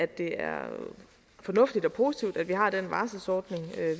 det er fornuftigt og positivt at vi har den varslingsordning